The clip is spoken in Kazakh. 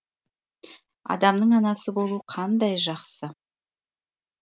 адамның анасы болу қандай жақсы